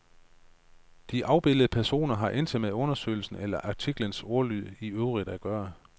De afbildede personer har intet med undersøgelsen eller artiklens ordlyd i øvrigt at gøre.